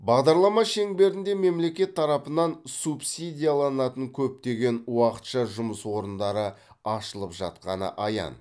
бағдарлама шеңберінде мемлекет тарапынан субсидияланатын көптеген уақытша жұмыс орындары ашылып жатқаны аян